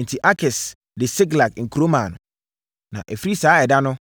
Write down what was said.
Enti, Akis de Siklag kuro maa no, (na ɛfiri saa ɛda no,